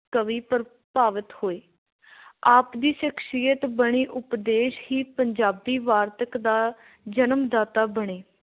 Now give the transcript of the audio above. ਕਵੀ ਪ੍ਰਭਾਵਿਤ ਹੋਏ । ਆਪ ਦੀ ਸ਼ਖ਼ਸੀਅਤ, ਬਾਣੀ ਉਪਦੇਸ਼ ਹੀ ਪੰਜਾਬੀ ਵਾਰਤਕ ਦਾ ਜਨਮ – ਦਾਤਾ ਬਣੇ।